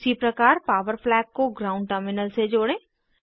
उसी प्रकार power flag को ग्राउंड टर्मिनल से जोड़ें